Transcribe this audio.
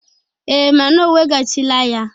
Ee, mana o wegachila ya.